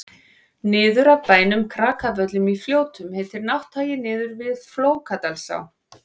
niður af bænum krakavöllum í fljótum heitir nátthagi niður við flókadalsá